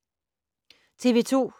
TV 2